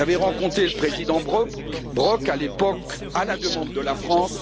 J'avais rencontré le président Brok, à l'époque, à la demande de la France